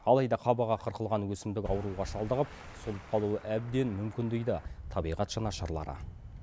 алайда қабығы қырқылған өсімдік ауруға шалдығып солып қалуы әбден мүмкін дейді табиғат жанашырлары